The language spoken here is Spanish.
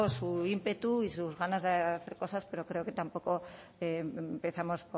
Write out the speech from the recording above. su ímpetu y sus ganas de hacer cosas pero creo que tampoco empezamos